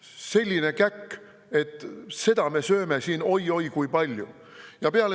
Selline käkk, et seda me veel sööme siin oi-oi kui palju.